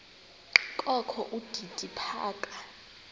kokho udidi phaka